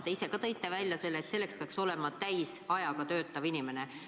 Te ise ka tõite välja, et selleks peaks olema täisajaga töötav inimene.